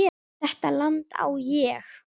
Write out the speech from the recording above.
Þetta land á ég.